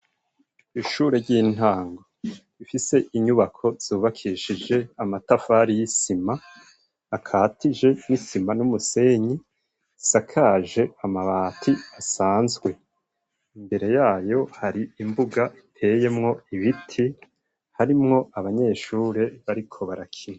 Ishure ry'intango ifise inyubako zubakishije amatafari y'isima akatiye n'isima n'umusenyi. Isakaje amabati asanzwe, imbere yayo hari imbuga iteyemwo ibiti harimwo abanyeshure bariko barakina.